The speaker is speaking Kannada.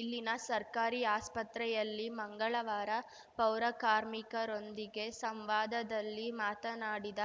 ಇಲ್ಲಿನ ಸರ್ಕಾರಿ ಆಸ್ಪತ್ರೆಯಲ್ಲಿ ಮಂಗಳವಾರ ಪೌರಕಾರ್ಮಿಕರೊಂದಿಗೆ ಸಂವಾದದಲ್ಲಿ ಮಾತನಾಡಿದ